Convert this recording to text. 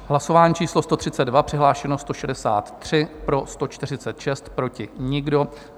Hlasování číslo 132, přihlášeni 163, pro 146, proti nikdo.